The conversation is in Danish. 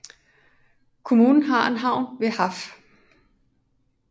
Kommunen har en havn ved Haff